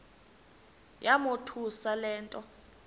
yamothusa le nto